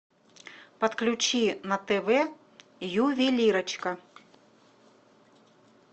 подключи на тв ювелирочка